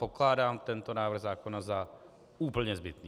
Pokládám tento návrh zákona za úplně zbytný.